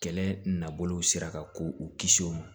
Kɛlɛ nabolo sera ka k'u kisi o ma